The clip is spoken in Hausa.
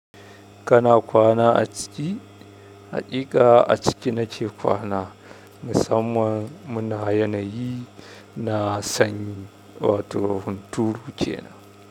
Kana kwana a ciki? Haƙiƙa a ciki nake kwana, musamman muna yanayi na sanyi wato hunturu kenan.